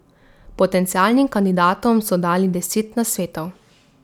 Potencialnim kandidatom so dali deset nasvetov.